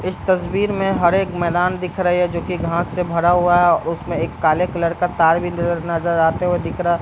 इस तस्वीर में हरे एक मैदान दिख रहा है जो की घास से भरा हुआ है उसमें एक काले कलर का तार बिंदु नजर आते हुए दिख रहा है।